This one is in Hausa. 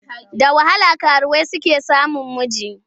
Da wahala karuwai suke samun miji.